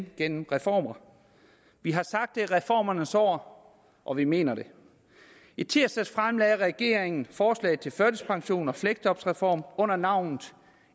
gennem reformer vi har sagt at det er reformernes år og vi mener det i tirsdags fremlagde regeringen forslag til førtidspensions og fleksjobreform under navnet